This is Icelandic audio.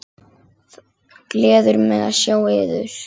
Gleður mig að sjá yður.